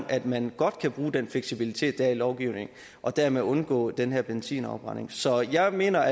at man godt kan bruge den fleksibilitet der er i lovgivningen og dermed undgå den her benzinafbrænding så jeg mener